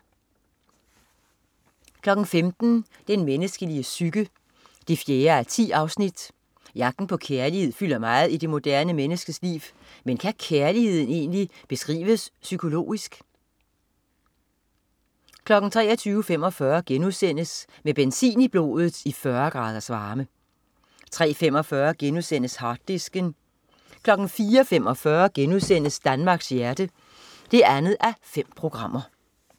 15.00 Den menneskelige psyke 4:10. Jagten på kærlighed fylder meget i det moderne menneskes liv, men kan kærligheden egentlig beskrives psykologisk? 23.45 Med benzin i blodet i 40 graders varme* 03.45 Harddisken* 04.45 Danmarks hjerte 2:5*